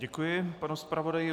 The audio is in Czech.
Děkuji panu zpravodaji.